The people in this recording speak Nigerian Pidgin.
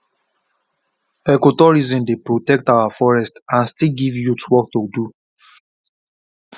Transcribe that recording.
ecotourism dey protect our forest and still give youth work to do